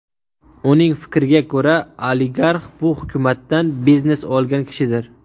Uning fikriga ko‘ra, oligarx bu hukumatdan biznes olgan kishidir.